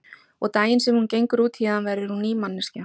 Og daginn sem hún gengur út héðan verður hún ný manneskja.